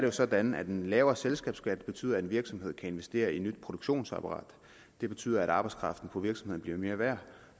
er sådan at en lavere selskabsskat betyder at en virksomhed kan investere i et nyt produktionsapparat og det betyder at arbejdskraften på virksomheden bliver mere værd